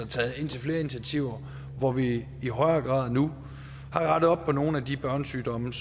taget indtil flere initiativer hvor vi i højere grad nu har rettet op på nogle af de børnesygdomme